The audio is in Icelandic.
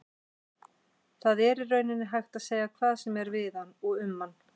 Það er í rauninni hægt að segja hvað sem er við hann og um hann.